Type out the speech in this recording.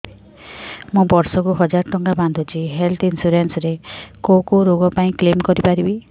ମୁଁ ବର୍ଷ କୁ ହଜାର ଟଙ୍କା ବାନ୍ଧୁଛି ହେଲ୍ଥ ଇନ୍ସୁରାନ୍ସ ରେ କୋଉ କୋଉ ରୋଗ ପାଇଁ କ୍ଳେମ କରିପାରିବି